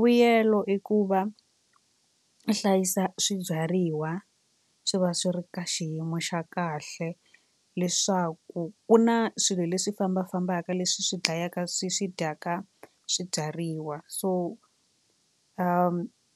Vuyelo i ku va hlayisa swibyariwa swi va swi ri ka xiyimo xa kahle leswaku ku na swilo leswi fambakafambaka leswi swi dlayaka swi swi dyaka swibyariwa so